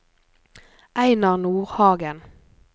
Einar Nordhagen